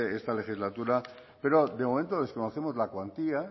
esta legislatura pero de momento desconocemos la cuantía